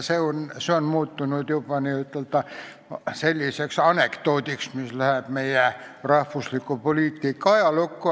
See on muutunud juba anekdoodiks, mis läheb meie rahvusliku poliitika ajalukku.